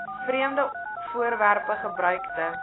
vreemde voorwerpe gebruikte